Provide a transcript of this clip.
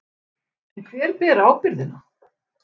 En hver ber ábyrgðina?